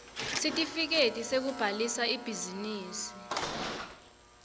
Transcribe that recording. sitifiketi sekubhalisa ibhizinisi